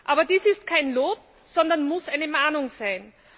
Aber dies ist kein Lob, sondern muss eine Mahnung sein.